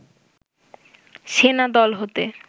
সেনা দল হতে